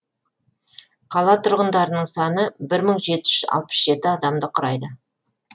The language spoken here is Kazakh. қала тұрғындарының саны бір мың жеті жүз алпыс жеті адамды құрайды